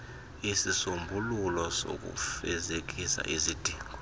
isisombululo sokufezekisa isidingo